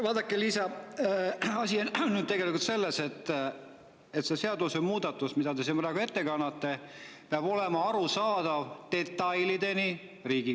Vaadake, Liisa, asi on selles, et see seadusemuudatus, mida te siin praegu ette kannate, peab olema Riigikogule detailideni arusaadav.